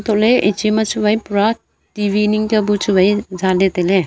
kole iche ma chu wai pura T_V ning kya pu chu wai zale tailey.